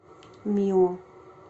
мио